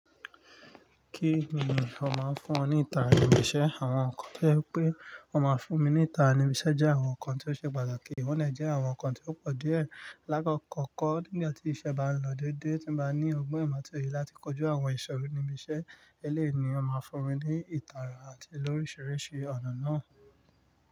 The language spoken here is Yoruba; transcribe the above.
Kí ni ó máa ń fún ọ ní ìtara ìṣẹ? Àwọn nǹkan tí ó je pe o máa fún mi ní ìtara ìṣẹ jẹ́ àwọn nǹkan tí ó ṣe pàtàkì, wọ́n dè jẹ́ àwọn nǹkan tí ó pọ̀ díẹ̀. Láìpẹ́, kọ́kọ́ nígbà tí iṣẹ́ bá ń lọ dédé, tí mo bá ní ọgbọ́n ìmọ̀ àti òye láti kojú àwọn ìṣòro ìmúṣẹ eléèní, ó máa fún mi ní ìtara àti lórísìírísìí ọ̀nà náà.